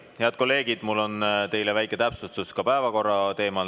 Head kolleegid, mul on teile väike täpsustus päevakorra teemal.